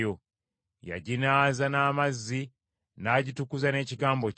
Yaginaaza n’amazzi, n’agitukuza n’ekigambo kye,